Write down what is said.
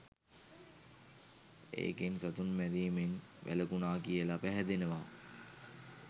ඒකෙන් සතුන් මැරීමෙන් වැළකුණා කියලා පැහැදෙනවා.